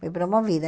Fui promovida.